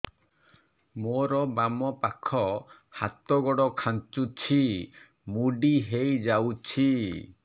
ମୋର ବାମ ପାଖ ହାତ ଗୋଡ ଖାଁଚୁଛି ମୁଡି ହେଇ ଯାଉଛି